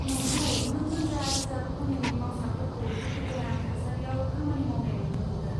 नंगौ, नों रोजा रोजा खनिनि मावसाफोरखौ दुखुगोनां थासारियाव खामानि मावनाय नुनो मोनगोन।